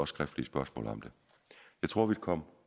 skriftlige spørgsmål om det jeg tror at vi kom